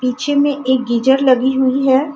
पीछे मे एक गीजर लगी हुई हे.